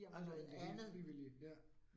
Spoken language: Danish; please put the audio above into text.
Altså det helt frivillige ja